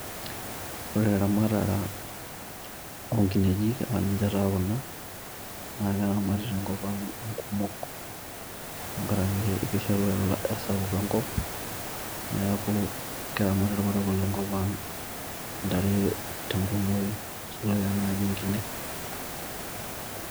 Ore eramatare oonkinejik aa ninche taa Kuna naa keramati tenkop Ang kumok tenkaraki kishoru kesapuk enkop ,niaku keramat irparakuo le nkop Ang ntare te nkumoyu